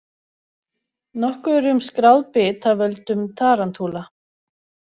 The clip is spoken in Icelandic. Nokkuð er um skráð bit af völdum tarantúla.